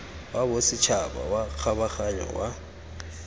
wa bosetšhaba wa kgabaganyo wa